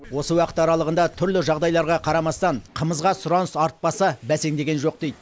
осы уақыт аралығында түрлі жағдайларға қарамастан қымызға сұраныс артпаса бәсеңдеген жоқ дейді